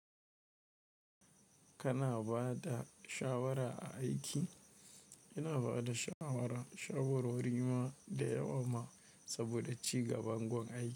Kana ba da shawara a aiki? Ina ba da shawara, shawarori ma da yawa ma saboda ci gaban gun aiki.